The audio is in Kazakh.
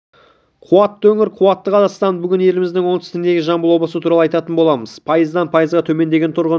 қуатты өңір қуатты қазақстан бүгін еліміздің оңтүстігіндегі жамбыл облысы туралы айтатын боламыз пайыздан пайызға төмендеген тұрғын